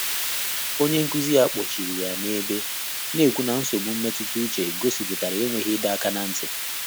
Ọ́nyé nkụ́zí yá kpọ́chìrì yá n’èbè, nà-ékwú nà nsógbú mmétụ́tà úchè gọ́sị́pụ́tàrà énwéghị́ ị́dọ́ áká n’á ntị́.